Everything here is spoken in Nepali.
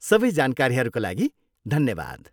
सबै जानकारीहरूका लागि धन्यवाद।